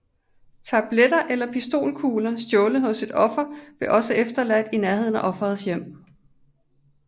Tabletter eller pistolkugler stjålet hos et offer blev også efterladt i nærheden af offerets hjem